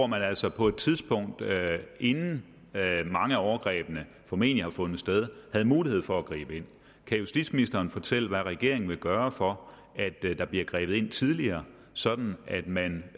man altså på et tidspunkt inden mange af overgrebene formentlig havde fundet sted havde mulighed for at gribe ind kan justitsministeren fortælle hvad regeringen vil gøre for at der bliver grebet ind tidligere sådan at man